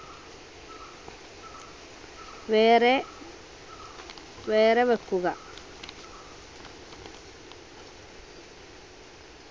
വേറെ വേറെ വെക്കുക